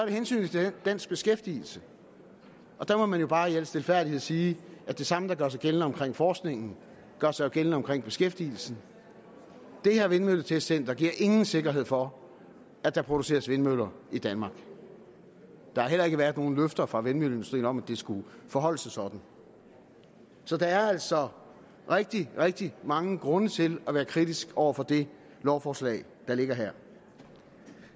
hensynet til dansk beskæftigelse og der må man jo bare i al stilfærdighed sige at det samme der gør sig gældende omkring forskningen jo gør sig gældende omkring beskæftigelsen det her vindmølletestcenter giver ingen sikkerhed for at der produceres vindmøller i danmark der har heller ikke været nogen løfter fra vindmølleindustrien om at det skulle forholde sig sådan så der er altså rigtig rigtig mange grunde til at være kritisk over for det lovforslag der ligger her